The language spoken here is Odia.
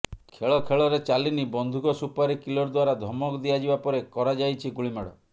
ଖେଳ ଖେଳ ରେ ଚାଲିନି ବନ୍ଧୁକ ସୁପାରି କିଲର ଦ୍ୱାରା ଧମକ ଦିଆଯିବା ପରେ କରାଯାଇଛି ଗୁଳିମାଡ଼